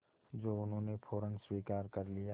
जो उन्होंने फ़ौरन स्वीकार कर लिया